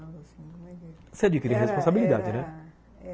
Você adquire responsabilidade, né?